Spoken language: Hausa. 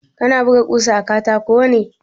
Kana buga ƙusa a katako ne?